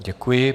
Děkuji.